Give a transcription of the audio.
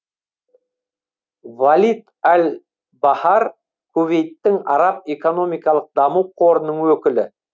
валид аль бахар кувейттің араб экономикалық даму қорының өкілі